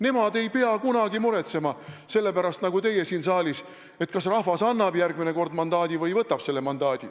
Nemad ei pea kunagi muretsema selle pärast, nagu teie siin saalis, kas rahvas annab järgmine kord mandaadi või võtab selle ära.